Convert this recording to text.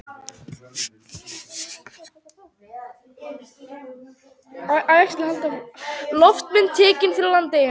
Loftmynd tekin yfir Landeyjum.